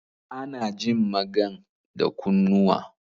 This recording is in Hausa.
Ana jin magan da kunnuwa